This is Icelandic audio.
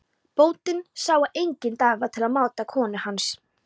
Bóndinn sá að enginn dagur var til máta konu hans.